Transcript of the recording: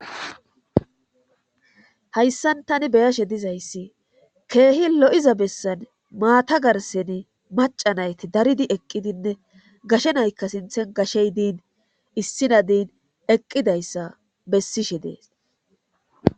hayssan tani beyashe dizayssi keehi lo7iza bessan maata garsen maca nayti daridi eqqidinne gashenaykka sinthen gashey diin issinadin eqqidayssa bessishe dees